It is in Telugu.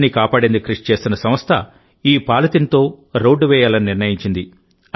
నదిని కాపాడేందుకు కృషి చేస్తున్న సంస్థ ఈ పాలిథిన్తో రోడ్డు వేయాలని నిర్ణయించింది